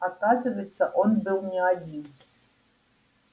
оказывается он был не один